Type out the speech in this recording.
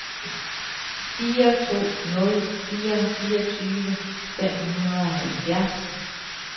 fire to nul fire fireogtyve fem hundrede og halvfjerds